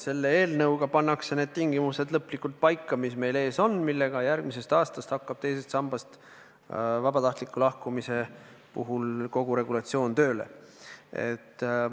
Selle eelnõuga pannakse need tingimused lõplikult paika ja järgmisel aastal hakkab teisest sambast vabatahtliku lahkumise kogu regulatsioon tööle.